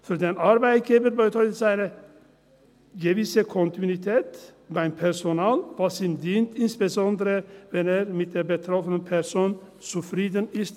Für den Arbeitgeber bedeutet es eine gewisse Kontinuität beim Personal, was ihm dient, insbesondere, wenn er mit der betroffenen Person zufrieden ist.